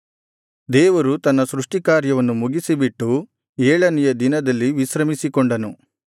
ದೇವರು ತನ್ನ ಸೃಷ್ಟಿಕಾರ್ಯವನ್ನು ಮುಗಿಸಿಬಿಟ್ಟು ಏಳನೆಯ ದಿನದಲ್ಲಿ ವಿಶ್ರಮಿಸಿಕೊಂಡನು